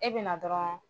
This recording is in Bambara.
E bɛ na dɔrɔn